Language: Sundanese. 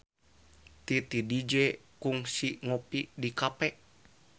Titi DJ kungsi ngopi di cafe